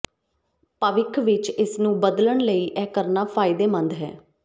ਭਵਿੱਖ ਵਿੱਚ ਇਸ ਨੂੰ ਬਦਲਣ ਲਈ ਇਹ ਕਰਨਾ ਫਾਇਦੇਮੰਦ ਹੈ